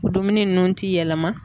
O dumuni nunnu ti yɛlɛma.